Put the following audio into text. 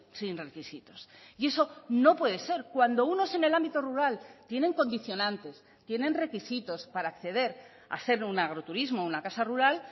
sin requisitos y eso no puede ser cuando unos en el ámbito rural tienen condicionantes tienen requisitos para acceder a ser un agroturismo o una casa rural